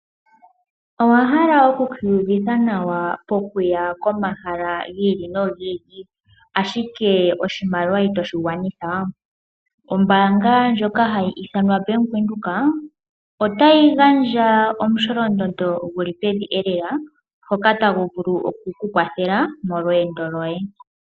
Owahala oku kiiyuvitha nawa po kuya pomahala gi ili nogi ili ashike oshimaliwa itoshi gwanitha? Ombaanga ndjoka hayi ithanwa Bank Windhoek otayi gandja omu sholondondo guli pevi lela ngoka tagu vulu oku ku kwathela molweendo lwoye.